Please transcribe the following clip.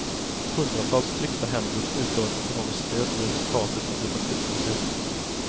Hundratals tryckta händer och utlovat ekonomiskt stöd blev resultatet av detta blixtbesök.